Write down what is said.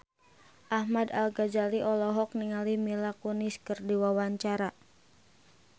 Ahmad Al-Ghazali olohok ningali Mila Kunis keur diwawancara